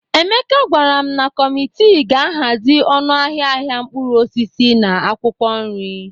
Emeka gwara m na kọmitii ga-ahazi ọnụ ahịa ahịa mkpụrụ osisi na akwụkwọ nri